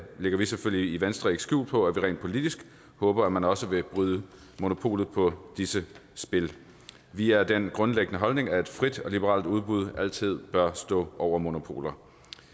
lægger vi selvfølgelig i venstre ikke skjul på at vi rent politisk håber at man også vil bryde monopolet på disse spil vi er af den grundlæggende holdning at et frit og liberalt udbud altid bør stå over monopoler